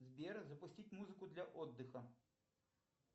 сбер запустить музыку для отдыха